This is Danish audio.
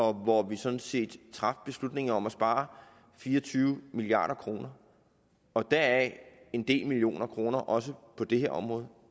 og hvor vi sådan set traf beslutningen om at spare fire og tyve milliard kroner og deraf en del millioner kroner også på det her område